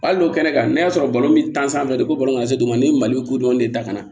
Hali n'o kɛnɛ kan n'a sɔrɔ balo bɛ ko bɔlɔlɔ ka se dugu ma ni mali kodɔn de dakana